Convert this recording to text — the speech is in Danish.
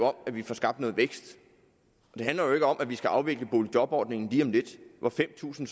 om at vi får skabt noget vækst det handler jo ikke om at vi skal afvikle boligjobordningen lige om lidt så fem tusind